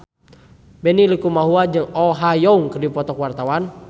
Benny Likumahua jeung Oh Ha Young keur dipoto ku wartawan